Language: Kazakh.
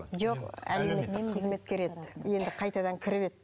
жоқ әлеуметтік қызметкер еді енді қайтадан кіріп еді